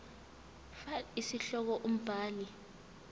fal isihloko umbhali